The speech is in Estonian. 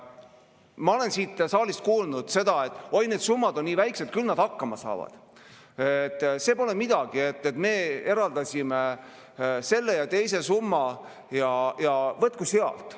Ma olen siit saalist kuulnud, et oi, need summad on nii väikesed, küll nad hakkama saavad, see pole midagi, me eraldasime selle ja teise summa ja võtku sealt.